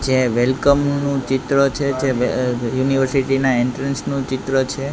જે વેલ્કમ નુ ચિત્ર છે જે યુનિવર્સિટી ના એન્ટ્રાન્સ નુ ચિત્ર છે.